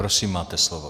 Prosím, máte slovo.